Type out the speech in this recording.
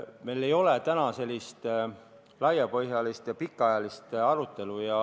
Meil ei ole täna laiapõhjalist ja pikaajalist arutelu.